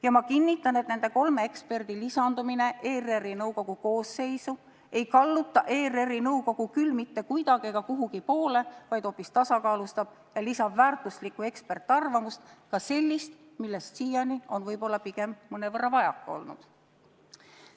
Ja ma kinnitan, et nende kolme eksperdi lisandumine ERR-i nõukogu koosseisu ei kalluta ERR-i nõukogu küll mitte kuidagi ega kuhugi poole, vaid hoopis tasakaalustab ja lisab väärtuslikku eksperdiarvamust, ka sellist, millest siiani on võib-olla pigem mõnevõrra vajaka olnud.